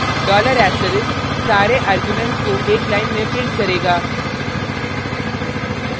$* dollar asterix सारे arguments को एक line में print करेगा